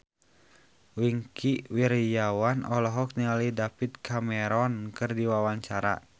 Wingky Wiryawan olohok ningali David Cameron keur diwawancara